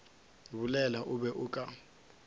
bolela o be o ka